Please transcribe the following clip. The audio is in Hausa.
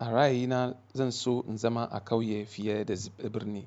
a ra'ayina zan so in zama a ƙauye fiye da birni.